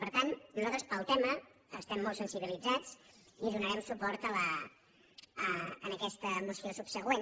per tant nosaltres pel tema estem molt sensibilitzats i donarem suport a aquesta moció subsegüent